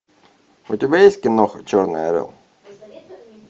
у тебя есть киноха черный орел